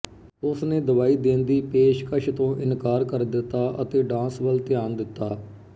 ਉਸਨੇ ਦਵਾਈ ਦੇਣ ਦੀ ਪੇਸ਼ਕਸ਼ ਤੋਂ ਇਨਕਾਰ ਕਰ ਦਿੱਤਾ ਅਤੇ ਡਾਂਸ ਵੱਲ ਧਿਆਨ ਦਿੱਤਾ